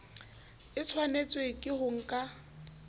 a tshwanetswe ke ho ka